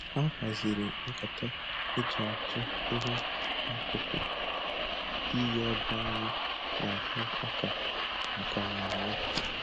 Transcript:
Ha haziri nkata e ji atụ ihe n'akụkụ iyi ebe anyị na-ahụ ọka maka mmemme